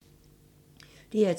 DR P2